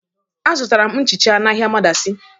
Azụtara m nchicha n'ahịa madaci.